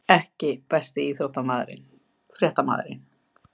EKKI besti íþróttafréttamaðurinn?